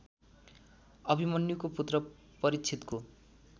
अभिमन्युको पुत्र परीक्षितको